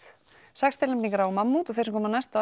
sex tilnefningar á mammút og þeir sem koma næst